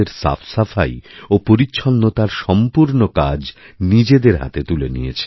সাফাই ও পরিচ্ছন্নতার সম্পূর্ণ কাজ নিজেদের হাতে তুলে নিয়েছেন